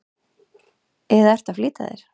eða ertu að flýta þér?